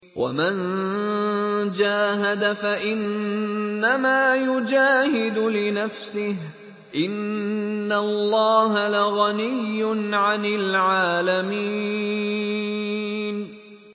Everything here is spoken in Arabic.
وَمَن جَاهَدَ فَإِنَّمَا يُجَاهِدُ لِنَفْسِهِ ۚ إِنَّ اللَّهَ لَغَنِيٌّ عَنِ الْعَالَمِينَ